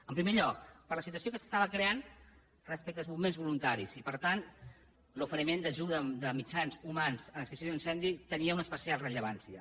en primer lloc per la situació que s’estava creant respecte als bombers voluntaris i per tant l’oferiment d’ajuda de mitjans humans a l’extinció d’un incendi tenia una especial rellevància